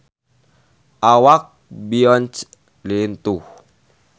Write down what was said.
Awak Beyonce lintuh